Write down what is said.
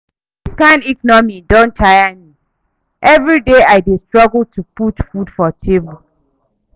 Dis kain economy don tire me, everyday I dey struggle to put food for table.